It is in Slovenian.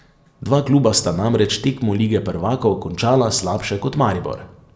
Dva kluba sta namreč tekmo lige prvakov končala slabše kot Maribor.